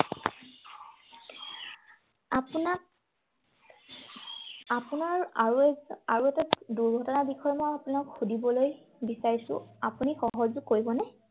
আপোনাক আপোনাৰ আৰু এক আৰু এটা দূৰ্ঘটনাৰ বিষয়ে মই আপোনাক সুধিবলৈ বিচাৰিছো, আপুনি সহযোগ কৰিবনে?